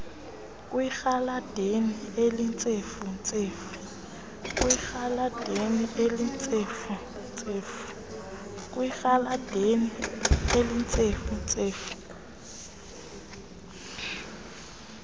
kwerhaladeni elintsefu ntsefu